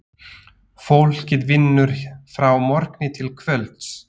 Fólkið vinnur frá morgni til kvölds.